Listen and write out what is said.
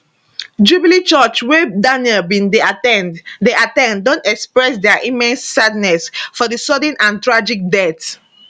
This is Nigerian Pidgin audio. jubilee church wey daniel bin dey at ten d dey at ten d don express dia immense sadness for di sudden and tragic death